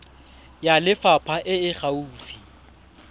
ya lefapha e e gaufi